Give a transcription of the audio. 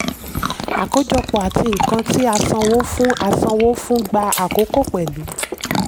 àkójọpọ̀ àti nkan tí a sanwó fún a sanwó fún gbà àkókò pẹ̀lú.